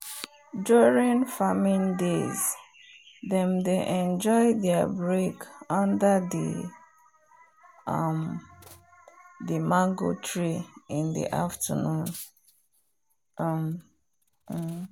during farming days them dey enjoy there break under the um mange tree in the afternoon um